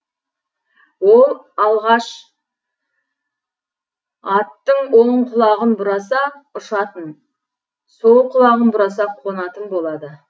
ол алғаш аттың оң құлағын бұраса ұшатын сол құлағын бұраса қонатын болады